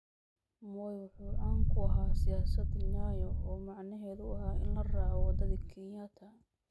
Moi waxa uu caan ku ahaa siyaasadda "Nyayo" oo macnaheedu ahaa in la raaco wadadii Kenyatta.